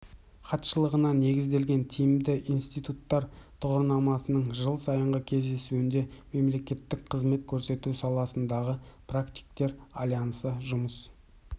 хатшылығына негізделген тиімді институттар тұғырнамасының жыл сайынғы кездесуінде мемлекеттік қызмет көрсету саласындағы практиктер альянсы жұмыс